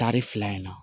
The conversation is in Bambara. Tari fila in na